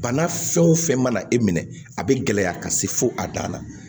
Bana fɛn o fɛn mana e minɛ a bɛ gɛlɛya ka se fo a dan na